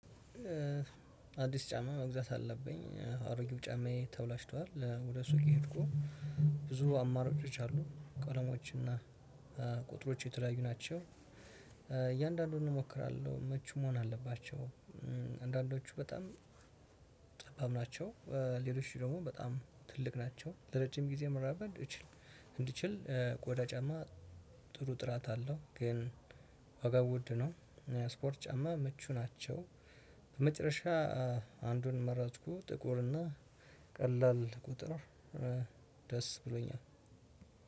አዲስ ጫማ መግዛት አለብኝ አሮጊው ጫማዬ ተበላሽቷል ወደ ሱቅ ሄድኩ። ብዙ አማራጮች አሉ ቀለማዎችና ቁጥሮች የተለያዩ ናቸው። እያንዳንዱን እሞክራለሁ ምቹ መሆን አለባቸው። አንዳንዶቹ በጣም ጠባብ ናቸው። ሌሎች ደግሞ በጣም ትልቅ ናቸው ለረጅም ጊዜ መራመድ እችል። እንድችል ቆዳ ጫማ ጥሩ ጥራት አለው። ግን ዋጋው ውድ ነው። ስፖርት ጫማ ምቹ ናቸው። በመጨረሻ አንዱን መረጥኩ። ጥቁር እና ቀላል ቁጥር ደስ ብሎኛል።